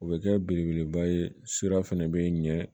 O bɛ kɛ belebeleba ye sira fana bɛ ɲɛ